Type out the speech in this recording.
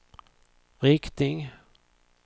riktning